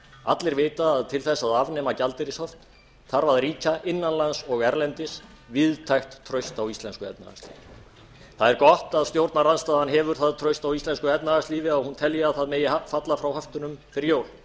allir vita að til þess að afnema gjaldeyrishöft þarf að ríkja innan lands og erlendis víðtækt traust á íslensku efnahagslífi það er gott að stjórnarandstaðan hefur það traust á íslensku efnahagslífi að hún telji að það megi falla frá höftunum fyrir jól